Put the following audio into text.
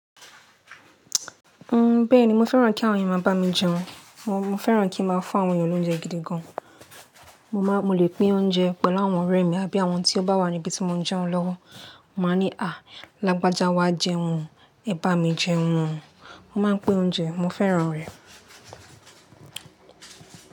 Ńbẹ̀ẹ́ni mo fẹ́ràn kí àwọn ènìyàn máa bá mi jẹun. Mo fẹ́ràn kí n máa fún àwọn ènìyàn lóúnjẹ gidi gan. Mo máa, mo lè pín oúnjẹ pẹ̀lú àwọn ọ̀rẹ́ mi àbí àwọn tí ó bá wà níbi tí mo ń jẹun lọ́wọ́. Mo máa ní, "à lagbaja wá jẹun, ẹ bá mi jẹun." Mo máa pín oúnjẹ, mo fẹ́ràn rẹ̀.